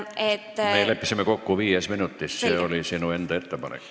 Me leppisime kokku viies minutis – see oli sinu enda ettepanek.